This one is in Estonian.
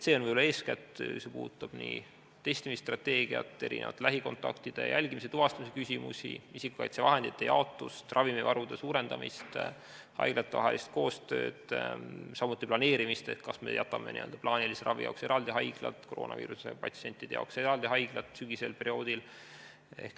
See on eeskätt see, mis puudutab testimisstrateegiat, lähikontaktide jälgimise ja tuvastamise küsimusi, isikukaitsevahendite jaotust, ravimivarude suurendamist, haiglate koostööd, samuti selle planeerimist, kas me jätame n-ö plaanilise ravi jaoks eraldi haiglad ja koroonaviiruse patsientide jaoks eraldi haiglad sügisesel perioodil.